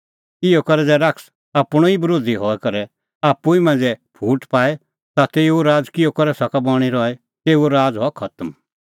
इहअ करै ज़ै शैतान आपणअ ई बरोधी हई करै आप्पू ई मांझ़ै फूट पाए ता तेऊओ राज़ किहअ करै सका बणीं रही तेऊओ राज़ हआ खतम